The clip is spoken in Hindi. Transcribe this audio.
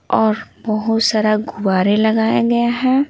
और बहुत सारा गुवारे लगाया गया हैं।